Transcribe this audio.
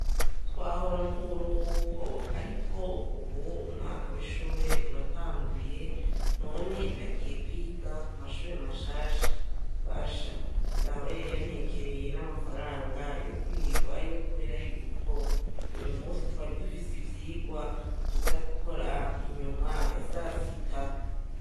Twahora mu buruhuko ariko ubu umwaka w'ishure uratanguye, none nagiye kwiga ku mashure mashasha. Basha, dawe yari yantekereye n'amafaranga yo kwirigwayo kubera yuko, uyumunsi twari dufise ivyigwa tuza gukora inyuma ya sasita.